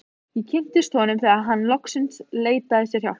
Ég kynntist honum þegar hann loksins leitaði sér hjálpar.